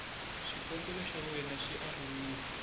xikombelo xa wena xi ariwile